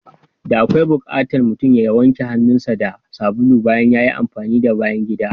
Da akwai bukatan mutum ya wanke hannun sa da sabulu bayan yayi amfani da bayan gida.